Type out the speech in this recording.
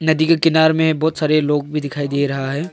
नदी के किनार में बहुत सारे लोग भी दिखाई दे रहा है।